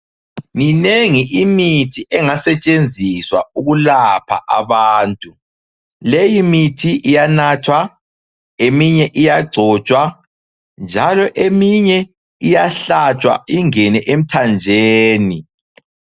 Minengi imithi engasentshenziswa ukulapha abantu. Leyimithi iyanathwa, eminye iyagcotshwa njalo eminye iyahlatshwa ingene emthanjeni.